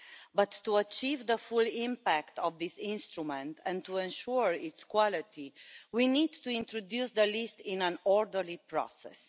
But to achieve the full impact of this instrument and to ensure its quality, we need to introduce the list in an orderly process.